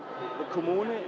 kommune